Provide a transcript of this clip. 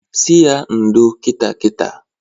Sị ya ndo kita kita!